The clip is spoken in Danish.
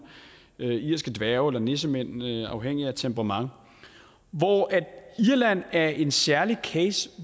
irske dværge eller nissemænd afhængigt af temperament hvor irland er en særlig case